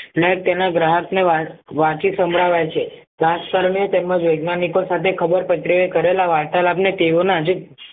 ને તેના ગ્રાહકને વાંચી સંભળાવાય છ તેમજ વૈજ્ઞાનિકો સાથે ખબર પડે કરેલા વારતા લાભ અને તેઓના આજે